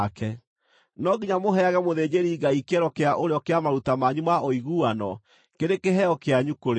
No nginya mũheage mũthĩnjĩri-Ngai kĩero kĩa ũrĩo kĩa maruta manyu ma ũiguano kĩrĩ kĩheo kĩanyu kũrĩ o.